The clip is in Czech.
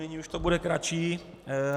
Nyní už to bude kratší.